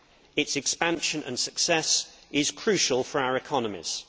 Its expansion and success is crucial for our economies.